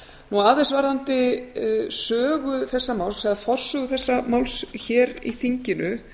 tíma aðeins varðandi sögu þessa máls eða forsögu þessa máls hér í þinginu